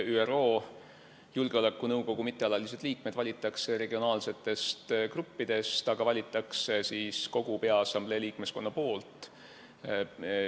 ÜRO Julgeolekunõukogu mittealalised liikmed valitakse regionaalsetest gruppidest ja neid valib kogu peaassamblee liikmeskond.